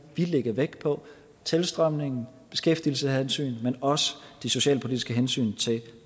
lægge vægt på tilstrømning og beskæftigelseshensyn men også de socialpolitiske hensyn til